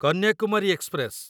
Kanyakumari express